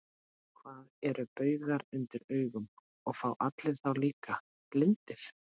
Hvað eru baugar undir augum, og fá allir þá, líka blindir?